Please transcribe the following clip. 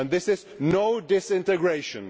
This is not disintegration.